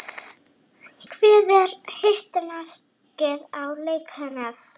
hvert er hitastigið á reykjanesbraut